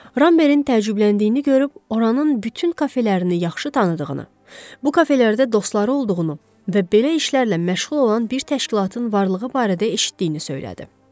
Rambergin təəccübləndiyini görüb oranın bütün kafelərini yaxşı tanıdığını, bu kafelərdə dostları olduğunu və belə işlərlə məşğul olan bir təşkilatın varlığı barədə eşitdiyini söylədi.